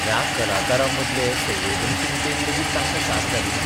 ह्या कलाकारांमदले संवेदनशीलतेन लेगीत तांकां साद घालिना.